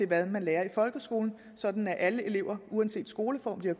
hvad man lærer i folkeskolen sådan at alle elever uanset skoleform de har